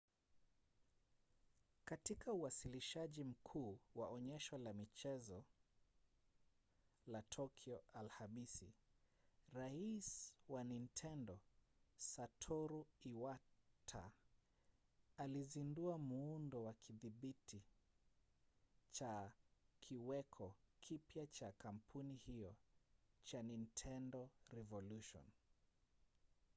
katika uwasilishaji mkuu wa onyesho la mchezo la tokyo alhamisi rais wa nintendo satoru iwata alizindua muundo wa kidhibiti cha kiweko kipya cha kampuni hiyo cha nintendo revolution